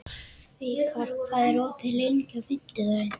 Vikar, hvað er opið lengi á fimmtudaginn?